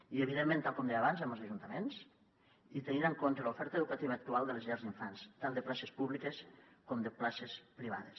i evidentment tal com deia abans amb els ajuntaments i tenint en compte l’oferta educativa actual de les llars d’infants tant de places públiques com de places privades